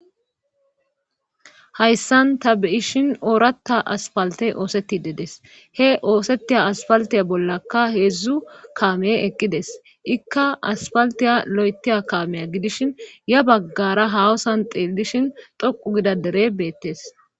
hayssan ta be7ishin ooratta aspaltte oosettide des;he oosettiya aspalttiya bollakka heedzdzu kaame eqqides;ikka aspalttiya loyttiya kaamiya gidishin ya baggara haahosan xeellishin xoqqu gida deree beettes.